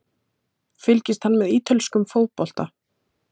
Fylgist hann með ítölskum fótbolta?